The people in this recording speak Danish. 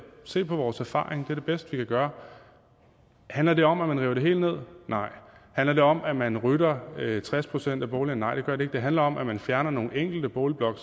se på vores erfaringer for det bedste vi kan gøre handler det om at man river det hele ned nej handler det om at man rydder tres procent af boligerne nej det handler om at man fjerner nogle enkelte boligblokke